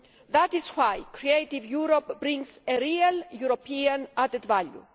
That is why Creative Europe brings a real European added value.